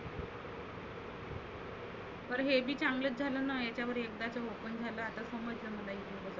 पण हे बी चांगलच झालंना एकदाच open झालं. आता समजलं ना